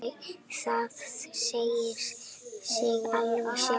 Það segir sig alveg sjálft.